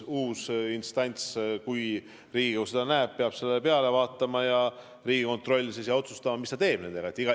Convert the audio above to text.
Uus instants, Riigikontroll , peab vaatama ja otsustama, mis ta nendega teeb.